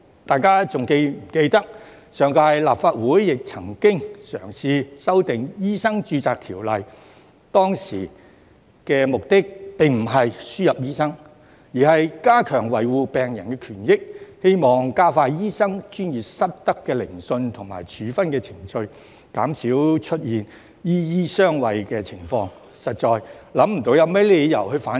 大家是否還記得上屆立法會亦曾嘗試修訂《醫生註冊條例》，當時的目的不是輸入醫生，而是加強維護病人權益，希望加快醫生專業失德的聆訊和處分程序，減少出現"醫醫相衞"的情況，實在想不出有甚麼理由反對。